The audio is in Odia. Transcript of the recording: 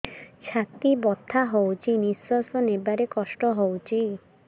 ଛାତି ବଥା ହଉଚି ନିଶ୍ୱାସ ନେବାରେ କଷ୍ଟ ହଉଚି